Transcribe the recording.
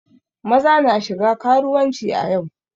Maza na shiga karuwanci a yau.